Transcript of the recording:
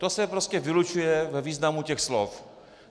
To se prostě vylučuje ve významu těch slov.